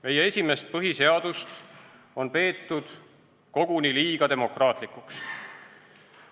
Meie esimest põhiseadust on peetud koguni liiga demokraatlikuks.